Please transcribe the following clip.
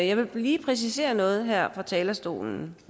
jeg vil lige præcisere noget her fra talerstolen